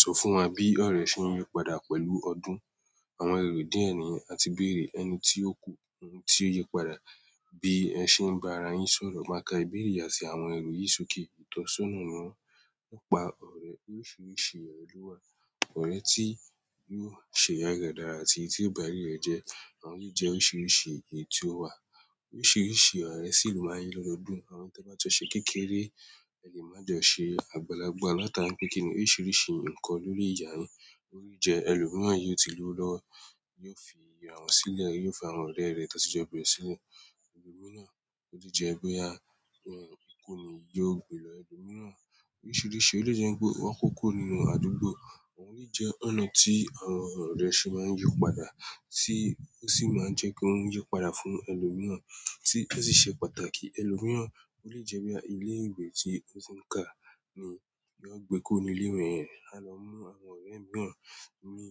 Sọ fún wa bí ọ̀rẹ́ ṣe ń yípadà pẹ̀lú ọdún, àwọn èrò díẹ̀ ni àti bèrè ẹni tí ó kú, ohun tí ó yípadà, bí ẹ ṣe ń bá ara yín sọ̀rọ̀ máa ka ìbéèrè àti àwọn èrò yìí sókè. Ìtọ́sọ́nà náà ń pa ọ̀rẹ́ oríṣiríṣi ọ̀rẹ́ lọ́wọ́, ọ̀rẹ́ tí yóò ṣe aye re dára àti tí ó bá aye rẹ̀ jẹ́, àwọn yìí jẹ́ oríṣiríṣi èyí tí ó wà. Oríṣiríṣi ọ̀rẹ́ sì lù máa ní lọ́dọọdún, àwọn tó bá ti ọ ṣe kékeré, ẹni má jọ ṣe àgbàlagbà látara pé kíni oríṣiríṣi nǹkan lórí ìyàrá, orí jẹ ẹlòmíràn yóò ti lù ú lọ́wọ́, yóò fi ìràn ṣílẹ̀, yóò fa ìràn lẹ́rẹ̀ẹ́ tó ti jẹ́ bẹ̀rẹ̀ sí inú ẹlòmíràn, ó sì jẹ́ pé a yàn ìkóni yóò gbilẹ̀ ẹlòmíràn. Oríṣiríṣi, ó lè jẹ́ pé wọ́n kókó nínú àdúgbò, àwọn yìí jẹ́ ọ̀nà tí àwọn ọ̀rẹ́ ṣe máa ń yípadà tí ó sì máa ń jẹ́ kí wọ́n yípadà fún ẹlòmíràn tí ó sì ṣe pàtàkì ẹlòmíràn, ó lè jẹ́ bí i ilé ìwé tí ó ti ń ká ni, yóò gbé kó ni ilé rẹ̀ rẹ̀, á lọ mú àwọn ọ̀rẹ́ mìíràn ní